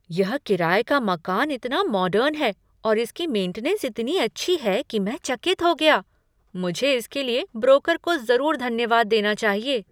यह किराए का मकान इतना मॉडर्न है और इसकी मेंटीनेन्स इतनी अच्छी है कि मैं चकित हो गया। मुझे इसके लिए ब्रोकर को जरूर धन्यवाद देना चाहिए।